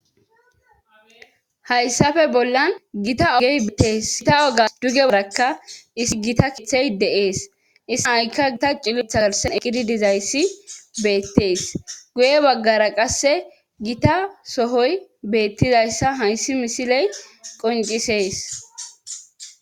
Hayssape bollan gita ogey tes gita oga duge barakka isi gita kithey deees issaikka gita cilus eqidi dizayssi beettees guye baggara qasse gita sohoy beettizayssa hayssi misiley qoncisees